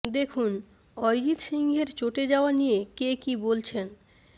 দেখুন অরিজিৎ সিংয়ের চটে যাওয়া নিয়ে কে কী বলছেন